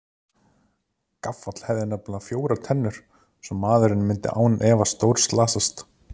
Gaffall hefði nefnilega fjórar tennur svo maðurinn myndi án efa stórslasast.